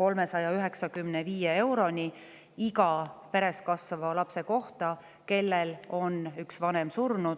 395 euroni iga peres kasvava lapse kohta, kellel on üks vanem surnud.